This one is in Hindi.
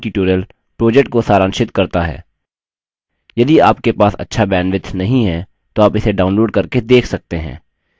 यह spoken tutorial project को सारांशित करता है यदि आपके पास अच्छा bandwidth नहीं है तो आप इसे download करके देख सकते हैं